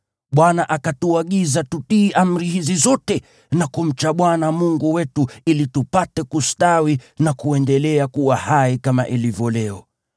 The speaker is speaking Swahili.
Bwana akatuagiza tutii amri hizi zote na kumcha Bwana Mungu wetu, ili tupate kustawi na kuendelea kuwa hai kama ilivyo leo.